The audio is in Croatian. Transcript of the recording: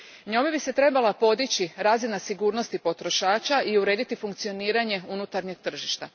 Njome bi se trebala podići razina sigurnosti potrošača i urediti funkcioniranje unutarnjeg tržišta.